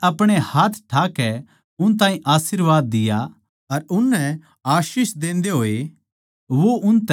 अर उननै आशीष देंदे होए वो उनतै न्यारा होग्या अर सुर्ग पै उठा लिया